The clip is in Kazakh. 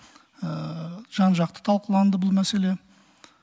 жан жақты талқыланды бұл мәселе